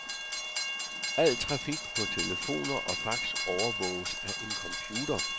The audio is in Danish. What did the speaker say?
Al trafik på telefoner og fax overvåges af en computer.